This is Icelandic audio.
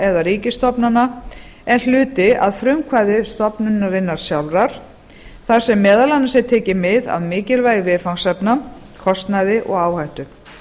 eða ríkisstofnana en hluti að frumkvæði stofnunarinnar sjálfrar þar sem meðal annars er tekið mið af mikilvægi viðfangsefna kostnaði og áhættu